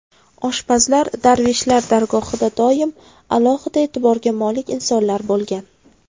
Oshpazlar darvishlar dargohida doim alohida e’tiborga molik insonlar bo‘lgan.